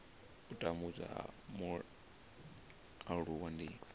u tambudzwa ha mualuwa ndi